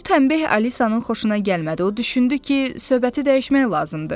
Bu tənbeh Alisanın xoşuna gəlmədi, o düşündü ki, söhbəti dəyişmək lazımdır.